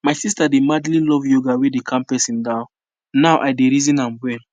my sister dey madly love yoga wey dey calm person down now i dey reason am well